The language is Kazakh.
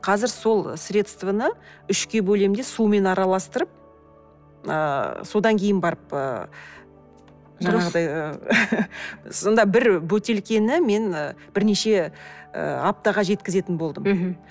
қазір сол средствоны үшке бөлем де сумен араластырып ыыы содан кейін барып ыыы жаңағыдай сонда бір бөтелкені мен і бірнеше ыыы аптаға жеткізетін болдым мхм